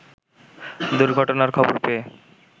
দুর্ঘটনার খবর পেয়ে